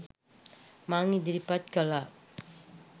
මං ඉදිරිපත් කළා.